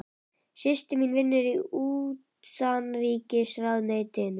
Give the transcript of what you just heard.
Systir mín vinnur í Utanríkisráðuneytinu.